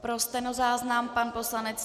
Pro stenozáznam - pan poslanec